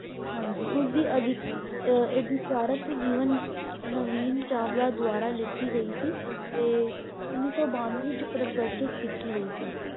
ਹਾਂਜੀ ਉਸ ਦੀ ਅਧਿਕਾਰਕ ਜੀਵਨ ਨਵੀਂ ਚਾਵਲਾ ਦੁਆਰਾ ਲਿਖੀ ਗਈ ਸੀ ਤੇ ਉੱਨੀ ਸੌ ਬਾਨਵੇ ਵਿਚ ਪ੍ਰਕਾਰਸ਼ਿਤ ਕੀਤੀ ਗਈ ਸੀ l